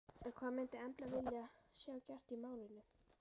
En hvað myndi Embla vilja sjá gert í málinu?